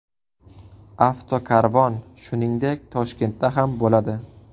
Avtokarvon, shuningdek, Toshkentda ham bo‘ladi.